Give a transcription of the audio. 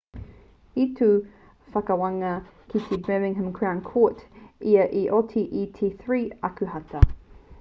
i tū te whakawānga ki te birmingham crown court ā i oti i te 3 o ākuhata